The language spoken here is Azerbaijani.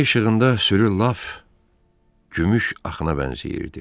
Ay işığında sürü lap gümüş axına bənzəyirdi.